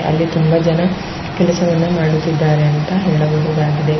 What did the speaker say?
ಅಲ್ಲಿ ತುಂಬಾ ಜನ ಕೆಲಸವನ್ನ ಮಾಡುತ್ತಿದ್ದಾರೆ ಅಂತ ಹೇಳಬಹುದಾಗಿದೆ.